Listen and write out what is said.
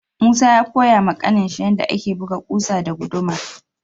Musa ya Koya ma kanin shi yanda ake buga kusa da guduma.